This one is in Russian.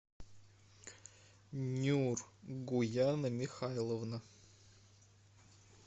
нюргуяна михайловна